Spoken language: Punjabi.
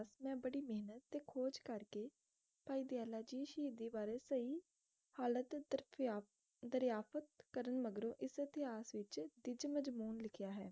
ਮੈ ਬੜੀ ਮੇਹਨਤ ਤੇ ਖੋਜ ਕਰਕੇ ਭਾਈ ਦਯਾਲਾ ਜੀ ਸ਼ਹੀਦੀ ਬਾਰੇ ਸਹੀ ਹਾਲਤ ਦਸਿਆ ਦਰਯਾਪਤ ਕਰਨ ਮਗਰੋਂ ਇਸ ਇਤਿਹਾਸ ਵਿਚ ਤਿਝ ਮਝਬੁਨ ਲਿਖਿਆ ਹੈ।